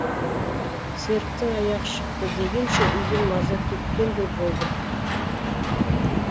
серіктің аяғы шықты дегенше үйден маза кеткендей болды